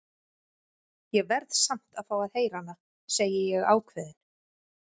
Ég verð samt að fá að heyra hana, segi ég ákveðin.